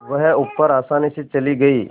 वह ऊपर आसानी से चली गई